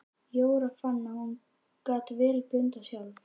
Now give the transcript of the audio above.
Jóra fann að hún gat vel blundað sjálf.